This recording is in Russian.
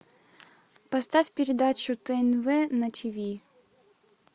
поставь передачу тнв на тв